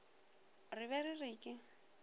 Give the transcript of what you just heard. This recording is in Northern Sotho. re ge re re ke